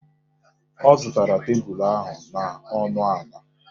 Ọ zụtara tebulu ahụ n'ọnụ ala.